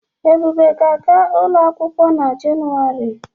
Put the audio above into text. Ebube ga-aga ụlọ akwụkwọ n'Jenụwarị.